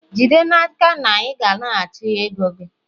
jide n'aka na ị naraghachi ego gị!